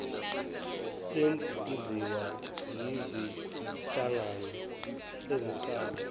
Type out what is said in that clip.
senziwa yizinhlangano eziqala